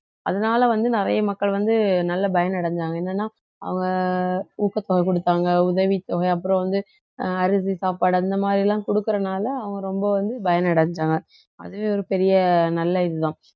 அதனால வந்து நிறைய மக்கள் வந்து நல்ல பயனடைஞ்சாங்க என்னன்னா அவங்க ஊக்கத்தொகை கொடுத்தாங்க உதவித்தொகை அப்புறம் வந்து அஹ் அரிசி சாப்பாடு அந்த மாதிரி எல்லாம் கொடுக்கிறனால அவங்க ரொம்ப வந்து பயன் அடைஞ்சாங்க அதுவே ஒரு பெரிய நல்ல இதுதான்